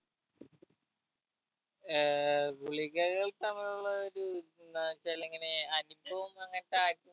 ഏർ ഗുളികകൾ തമ്മിലുള്ള ഒരു എന്നവെച്ചൽ ഇങ്ങനെ അനുഭവം അങ്ങത്താ ആരിക്കും